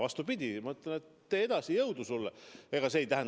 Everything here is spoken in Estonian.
Vastupidi, ma ütlen, et tee edasi, jõudu sulle!